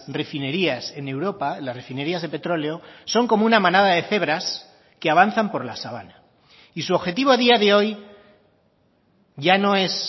refinerías en europa las refinerías de petróleo son como una manada de cebras que avanzan por la sabana y su objetivo a día de hoy ya no es